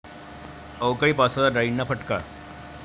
अवकाळी पावसाचा डाळींना फटका